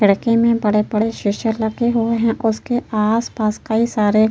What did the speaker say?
खिड़की मे बड़े-बड़े शीशे लगे हुए हैं। उसके आसपास कई सारे --